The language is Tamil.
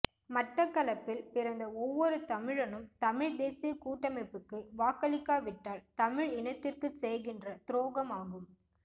மட்டக்களப்பில் பிறந்த ஒவ்வொருதமிழனும் தமிழ்த் தேசியக் கூட்டமைப்புக்கு வாக்களிக்காவிட்டால் தமிழ் இனத்திற்குச்செய்கின்ற துரோகமாகும்